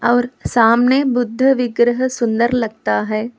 और सामने बुद्ध विग्रह सुंदर लगता है।